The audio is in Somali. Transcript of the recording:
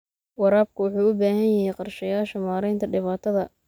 Waraabka wuxuu u baahan yahay qorshayaasha maaraynta dhibaatada.